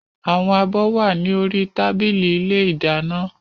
Àwọn abọ́ wà ní orí tábìlì ilé ìdáná